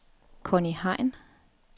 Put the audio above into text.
Conni Hein